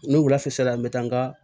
Ni wula fɛ sisan n bɛ taa n ka